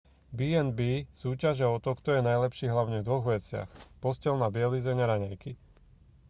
b&b súťažia o to kto je najlepší hlavne v dvoch veciach posteľná bielizeň a raňajky